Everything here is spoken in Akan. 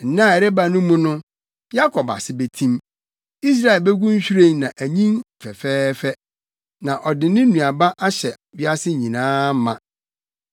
Nna a ɛreba no mu no, Yakob ase betim, Israel begu nhwiren na anyin fɛfɛɛfɛ na ɔde ne nnuaba ahyɛ wiase nyinaa ma.